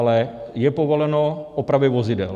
Ale je povoleno opravy vozidel.